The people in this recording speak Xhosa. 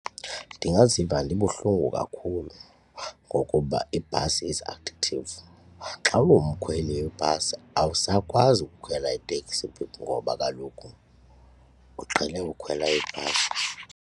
Ndingaziva ndibuhlungu kakhulu ngokuba iibhasi is addictive, xa umkhweli webhasi awusakwazi ukukhwela iteksi ngoba kaloku uqhele ukukhwela ibhasi.